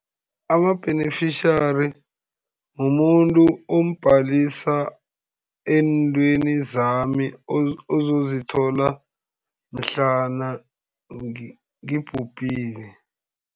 Ama-beneficiary mumuntu ombhalisa eentweni zami, ozozithola mhlana ngibhubhile.